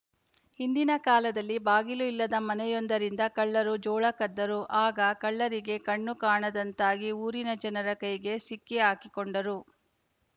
ಹಿಂದಿನ ಕಾಲದಲ್ಲಿ ಬಾಗಿಲು ಇಲ್ಲದ ಮನೆಯೊಂದರಿಂದ ಕಳ್ಳರು ಜೋಳ ಕದ್ದರು ಆಗ ಕಳ್ಳರಿಗೆ ಕಣ್ಣು ಕಾಣದಂತಾಗಿ ಊರಿನ ಜನರ ಕೈಗೆ ಸಿಕ್ಕಿಹಾಕಿಕೊಂಡರು